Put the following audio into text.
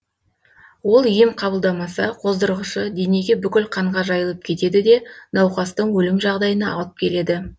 ол ем қабылдамаса қоздырғышы денеге бүкіл қанға жайылып кетеді де науқастың өлім жағдайына алып келеді